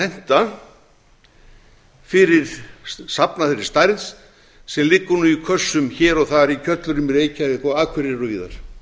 henta fyrir safn af þessari stærð sem liggur nú í kössum hér og þar í kjöllurum í reykjavík og á akureyri og víðar